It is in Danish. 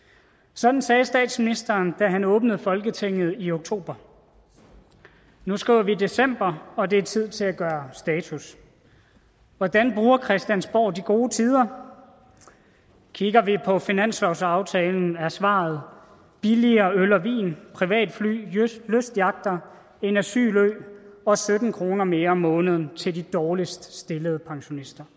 sådan sagde statsministeren da han åbnede folketinget i oktober nu skriver vi december og det er tid til at gøre status hvordan bruger christiansborg de gode tider kigger vi på finanslovsaftalen er svaret billigere øl og vin privatfly lystyachter en asylø og sytten kroner mere om måneden til de dårligst stillede pensionister